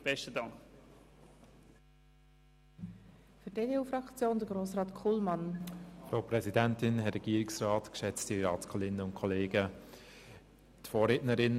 Die Vorrednerinnen und Vorredner haben das Dilemma bereits breit dargelegt.